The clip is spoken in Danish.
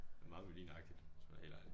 Meget Melin agtigt hvis man er helt ærlig